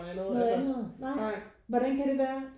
Noget andet? Nej hvordan kan det være?